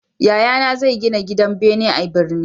Yayana zai gina gidan bene a birni